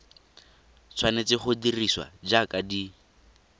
tshwanetse go dirisiwa jaaka di